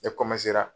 Ne